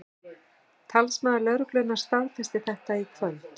Talsmaður lögreglunnar staðfesti þetta í kvöld